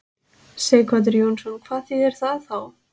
Sighvatur Jónsson: Hvað þýðir það þá?